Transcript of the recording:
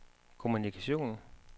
kommunikation